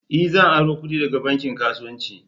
E! Zan aro kudi daga bankin kasuwanci.